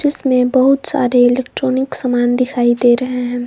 इसमें बहुत सारे इलेक्ट्रॉनिक सामान दिखाई दे रहे हैं।